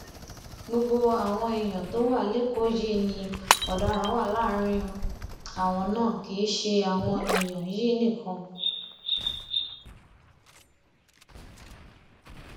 gbogbo àwọn ẹyà tó wà lẹkọọ yìí ni ọdaràn wà láàrin àwọn náà kì í ṣe àwọn èèyàn yín nìkan